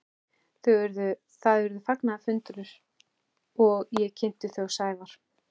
Það urðu fagnaðarfundir og ég kynnti þau Sævar.